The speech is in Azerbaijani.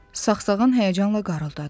Saqsağan həyəcanla qarıldadı.